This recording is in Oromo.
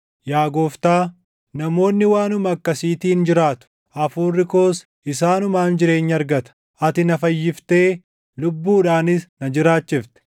Yaa Gooftaa, namoonni waanuma akkasiitiin jiraatu; hafuurri koos isaanumaan jireenya argata. Ati na fayyiftee lubbuudhaanis na jiraachifte.